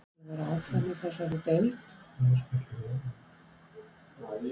Hefur Leiknir gæði til að vera áfram í þessari deild?